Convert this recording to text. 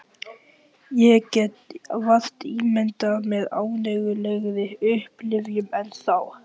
Ég get vart ímyndað mér ánægjulegri upplifun en þá.